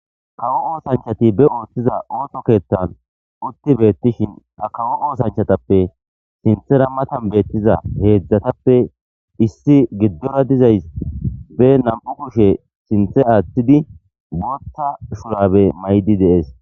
Kawo oosanchati ba oosoza ooso keeththan, utti bettishinka kawo oosanchatappe sintha matan bettiza heezatappe, isso giddo diza issi ba na'amu kushe sintha attidi bootha shurabe maydi dees.